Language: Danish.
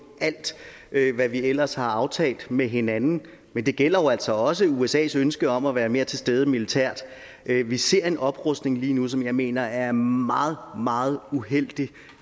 alt hvad vi ellers har aftalt med hinanden men det gælder jo altså også usas ønske om at være mere til stede militært vi ser en oprustning lige nu som jeg mener er meget meget uheldig